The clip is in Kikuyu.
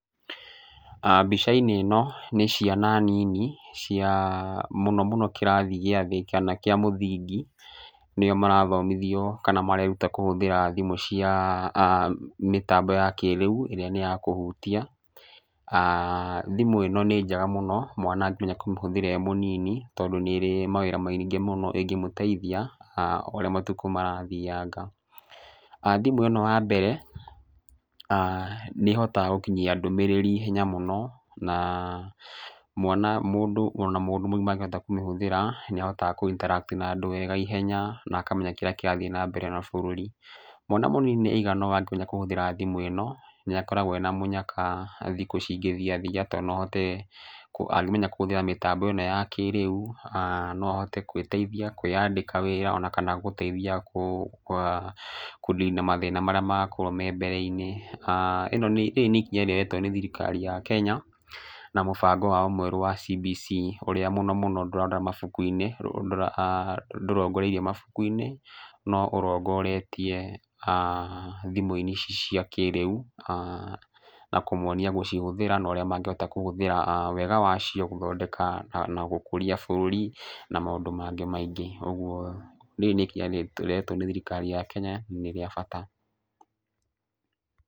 Mbica-inĩ ĩno nĩ ciana nini cia mũno mũno kĩrathi gĩa thĩ kana kĩa mũthingi. Nĩo marathomithio kana mareruta kũhũthĩra thimũ cia mĩtambo ya kĩrĩu ĩrĩa nĩ ya kũhutia. Thimũ ĩno nĩ njega mũno mwana angĩmenya kũmĩhũthĩra e mũnini tondũ nĩ ĩrĩ mawĩra maingĩ mũno ĩngĩmũteithia o ũrĩa matukũ marathianga. Thimũ ĩno wa mbere, nĩ ĩhotaga gũkinyia ndũmĩrĩri ihenya mũno, na ona mũndũ mũgima angĩhota kũmĩhũthĩra nĩ ahotaga kũ interact na andũ aingĩ ihenya na akamenya kĩrĩa kĩrathiĩ na mbere ona bũrũri. Mwana mũnini aigana ũũ angĩmenya kũhũthĩra thimũ ĩno nĩ akoragwo ena mũnyaka thikũ cingĩthiathia tondũ no ahote angĩmenya kũhũthĩra mĩtambo ĩno ya kĩrĩu, no ahote gwĩteithia, kwĩandĩka wĩra ona kana gũteithia kũnina mathĩna marĩa makorwo me mbere-inĩ. Rĩrĩ nĩ ikinya rĩoetwo nĩ thirikari ya Kenya na mũbango wao mwerũ wa CBC ũrĩa mũno mũno ndũrongoreirie mabaku-inĩ, no ũrongoretie thimũ-inĩ ici cia kĩrĩu, na kũmonia gũcihũthĩra na ũrĩa mangĩhota kũhũthĩra wega wacio gũthondeka na gũkũria bũrũri, na maũndũ mangĩ maingĩ. Ũguo rĩrĩ nĩ ikinya rĩrehetwo nĩ thirikari ya Kenya nĩ rĩa bata.